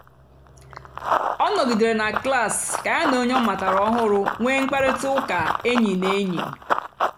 ọ nọ̀gìdèrè na klas kà ya na ònyè ọ ọ mààra ọ̀hụrụ́ nwéé mkpáịrịtà ụ́ka ényì na ényì.